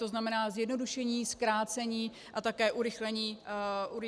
To znamená zjednodušení, zkrácení a také urychlení výstavby.